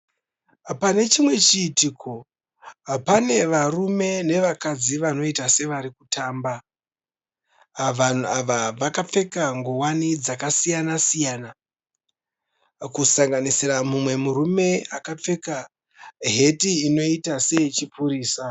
Pane chimwe chiitiko, pane varume nevakadzi vanoita sevari kutamba. Vanhu ava vakapfeka ngowani dzakasiyana siyana, kusanganisira mumwe murume akapfeka heti inoita seye chipurisa.